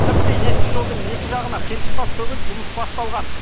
тіпті ескі жолдың екі жағына қиыршық тас төгіліп жұмыс басталған